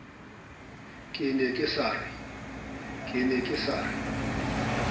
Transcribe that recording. ke ne ke sa re